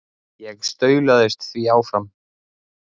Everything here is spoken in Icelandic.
Ég staulaðist því áfram.